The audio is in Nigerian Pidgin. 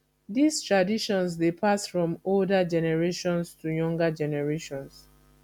these traditions de pass from older generations to younger generations